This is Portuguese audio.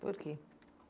Por que?